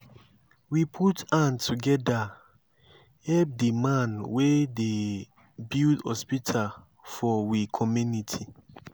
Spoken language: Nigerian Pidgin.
we put hand together help di man wey dey build hospital for we community.